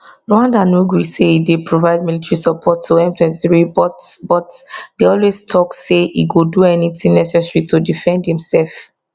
rwanda no gree say e dey provide military support to m23 but but dey always tok say e go do anything necessary to defend imsef